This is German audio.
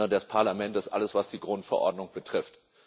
des Parlaments alles, was die Grundverordnung betrifft.